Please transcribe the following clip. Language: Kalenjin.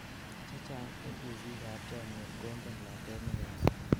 chechang en uusik ab chomyet kongen lakwet nekaus